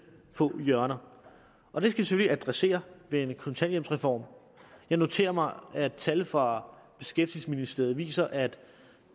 få hjørner og det skal vi selvfølgelig adressere ved en kontanthjælpsreform jeg noterer mig at tal fra beskæftigelsesministeriet viser at